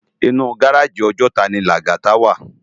Inú gáráji Òjòtá ni Lagata wá